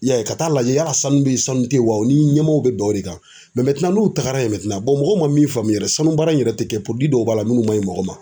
I y'a ye ka taa lajɛ yala sanu bɛ yen sanu tɛ yen wa u ni ɲɛmɔgɔw bɛ bɛn o de kan n'u taara yen mɔgɔw ma min faamuya yɛrɛ sanubaara in yɛrɛ tɛ kɛ dɔw b'a la minnu ma ɲi mɔgɔ ma.